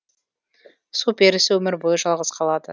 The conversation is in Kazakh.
су перісі өмір бойы жалғыз қалады